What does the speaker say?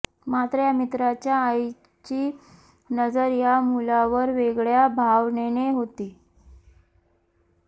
मात्र या मित्राच्या आईची नजर या मुलावर वेगळ्या भावनेने होती